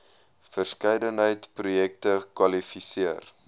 verskeidenheid projekte kwalifiseer